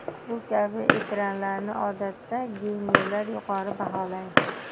Bu kabi ekranlarni odatda geymerlar yuqori baholaydi.